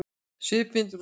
Svipmyndir úr sögunni